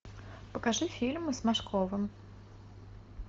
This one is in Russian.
покажи фильмы с машковым